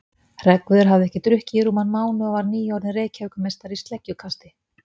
Hreggviður hafði ekki drukkið í rúman mánuð og var nýorðinn Reykjavíkurmeistari í sleggjukasti.